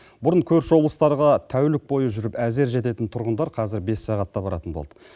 бұрын көрші облыстарға тәулік бойы жүріп әзер жететін тұрғындар қазір бес сағатта баратын болды